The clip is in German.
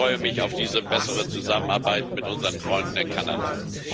Ich freue mich auf diese bessere Zusammenarbeit mit unseren Freunden in Kanada.